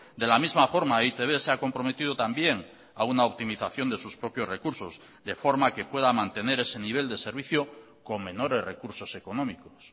de la misma forma e i te be se ha comprometido también a una optimización de sus propios recursos de forma que pueda mantener ese nivel de servicio con menores recursos económicos